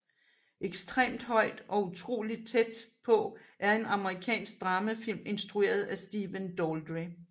Ekstremt højt og utrolig tæt på er en amerikansk dramafilm instrueret af Stephen Daldry